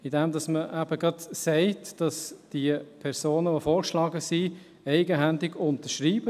Dies, indem man sagt, dass die vorgeschlagenen Personen eigenhändig unterschreiben.